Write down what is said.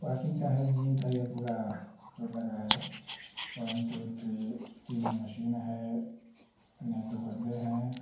Walking का है। Gym का पूरा ये स्टोर लगाए है एक दो तीन गो वन टू थ्री तीन गो मशीन है नये दो बदले है।